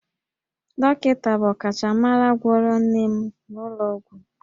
Dọkịta bụ ọkachamara gwọrọ nne m n'ụlọ ọgwụ